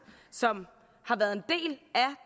som har været